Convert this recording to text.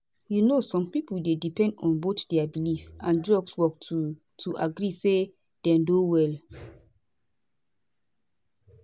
you know some pipo dey depend on both dia belief and drugs work to to agree say dem don well